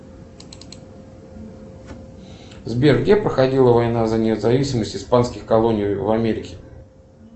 сбер где проходила война за независимость испанских колоний в америке